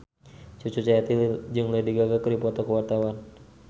Cucu Cahyati jeung Lady Gaga keur dipoto ku wartawan